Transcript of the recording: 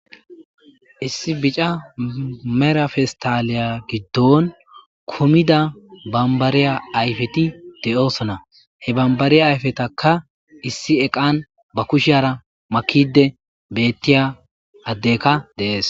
Issi bica mera festaliya giddon kumida bambariya ayfeti de7oosona he bambariya ayfetaka issi eqan ba kushiyara makide bettiya addeka deees